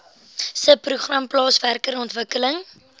subprogram plaaswerker ontwikkeling